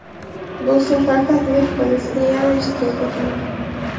Bu safar taklif qilishsa, yana ishtirok etaman.